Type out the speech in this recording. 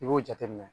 I b'o jateminɛ